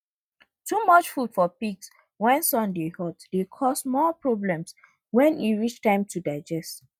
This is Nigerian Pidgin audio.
too much food for pigs when sun dey hot dey cause more problems when e reach time to digest